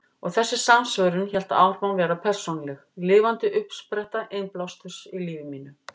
Og þessi samsvörun hélt áfram að vera persónuleg, lifandi uppspretta innblásturs í lífi mínu.